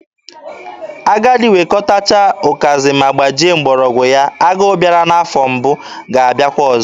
Agadi wekọtacha ụkazị ma gbajie mgbọrọgwụ ya, agụ bịara n'afọ mbụ ga-abịakwa ọzọ.